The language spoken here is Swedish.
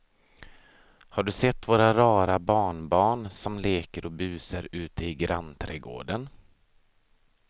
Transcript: Har du sett våra rara barnbarn som leker och busar ute i grannträdgården!